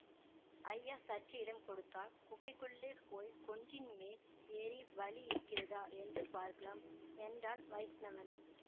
ஐயா சற்று இடம் கொடுத்தால் குகைக்குள்ளே போய் குன்றின் மேல் ஏறி வழி இருக்கிறதா என்று பார்க்கலாம் என்றான் வைஷ்ணவன்